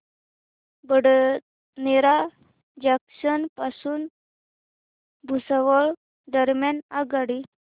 Badnera junction पासून भुसावळ दरम्यान आगगाडी